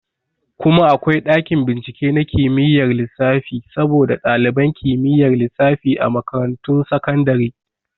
Kuma akwai ɗakin bincike na kimiyar lissafi saboda ɗaliban kimiyyar lissafi a makarantun sakandare